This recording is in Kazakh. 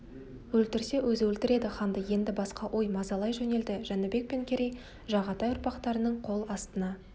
өлтірсе өзі өлтіреді ханды енді басқа ой мазалай жөнелді жәнібек пен керей жағатай ұрпақтарының қол астына